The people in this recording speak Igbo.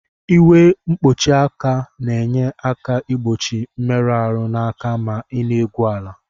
Uwe nkpuchi aka na enye aka igbochi mmerụ arụ na aka ma ina egwu ala.